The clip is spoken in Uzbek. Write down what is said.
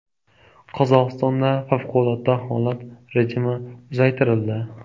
Qozog‘istonda favqulodda holat rejimi uzaytirildi.